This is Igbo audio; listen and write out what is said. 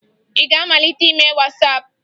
Ị ga-amalite ime Wasaapụ?